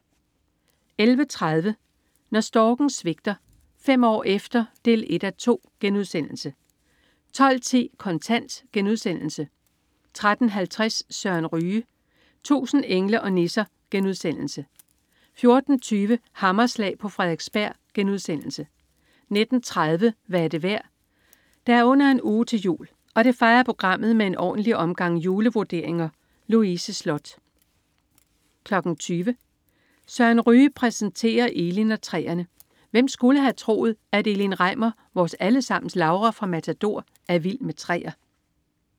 11.30 Når storken svigter. Fem år efter 1:2* 12.10 Kontant* 13.50 Søren Ryge. 1000 engle og nisser* 14.20 Hammerslag på Frederiksberg* 19.30 Hvad er det værd? Der er under en uge til jul, og det fejrer programmet med en ordentlig omgang julevurderinger! Louise Sloth 20.00 Søren Ryge præsenterer Elin og træerne. Hvem skulle have troet at Elin Reimer, vores allesammens Laura fra "Matador", er vild med træer?